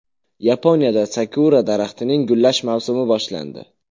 Yaponiyada sakura daraxtining gullash mavsumi boshlandi.